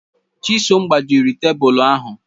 Chisom gbajịrị tebụlụ ahụ